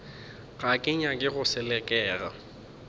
ga ke nyake go selekega